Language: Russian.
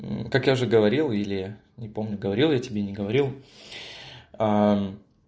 так я же говорил или не помню говорил я тебе не говорил